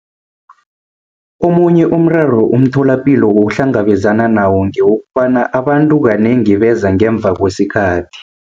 Omunye umraro umtholapilo ohlangabezana nawo ngewokobana abantu kanengi beza ngemva kwesikhathi.